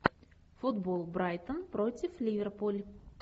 футбол брайтон против ливерпуль